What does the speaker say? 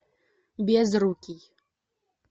безрукий